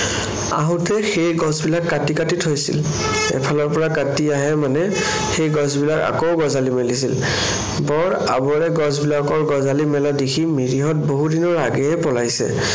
আহোতে সেই গছবিলাক কাটি কাটি থৈছিল। এফালৰ পৰা কাটি আহে মানে সেই গছবিলাক আকৌ গঁজালি মেলিছিল। বৰ আবৰে গছবিলাকৰ গঁজালি মেলা দেখি মিৰিহঁত বহুদিনৰ আগেয়ে পলাইছে।